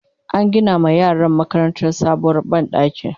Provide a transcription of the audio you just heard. an Gina ma yaran makarantar sabuwar banɗaki